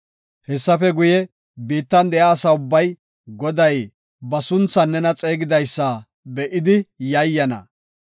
Hessafe guye, biittan de7iya asa ubbay Goday ba sunthan nena xeegidaysa be7idi yayyana.